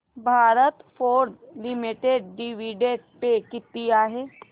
Bharat Forge limited dividend pay किती आहे